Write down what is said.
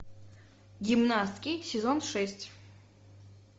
гимнастки сезон шесть